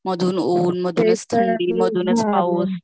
मधून ऊन मधूनच थंडी मधूनच पाऊस